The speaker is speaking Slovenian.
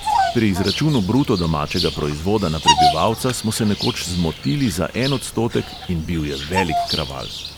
Pri izračunu bruto domačega proizvoda na prebivalca smo se nekoč "zmotili" za en odstotek in bil je velik kraval.